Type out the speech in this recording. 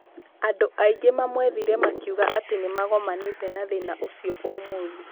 Andũ aingĩ mamwethire makiuga atĩ nĩmagomanĩte na thĩna ũcio ũcio ũmũthĩ.